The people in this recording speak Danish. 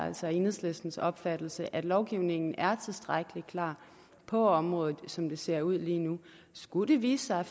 altså enhedslistens opfattelse at lovgivningen er tilstrækkelig klar på området som det ser ud lige nu skulle det vise sig